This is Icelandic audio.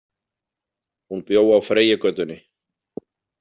Hún bjó á Freyjugötunni.